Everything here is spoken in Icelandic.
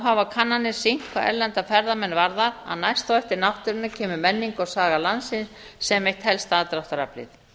hafa kannanir sýnt hvað erlenda ferðamenn varðar að næst á eftir náttúrunni kemur menning og saga landsins sem eitt helsta aðdráttaraflið